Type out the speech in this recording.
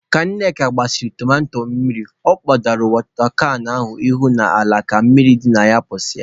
Ka Nneka gbasịrị tomato mmiri, ọ kpọdoro wọta kan ahụ isi n'ala ka mmiri dị na pụsịa.